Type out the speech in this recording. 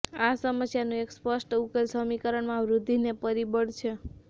આ સમસ્યાનું એક સ્પષ્ટ ઉકેલ સમીકરણમાં વૃદ્ધિને પરિબળ છે